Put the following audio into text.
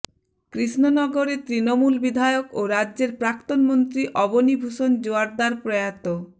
কৃষ্ণনগরের তৃণমূল বিধায়ক ও রাজ্যের প্রাক্তন মন্ত্রী অবনী ভূষণ জোয়ারদার প্রয়াত